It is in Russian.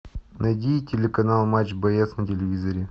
найди телеканал матч бс на телевизоре